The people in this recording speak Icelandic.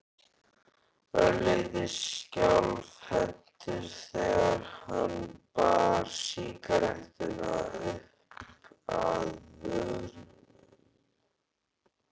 Örlítið skjálfhentur þegar hann bar sígarettuna uppað vörunum.